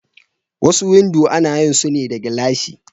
Wasu windo ana yin sune da gilashi.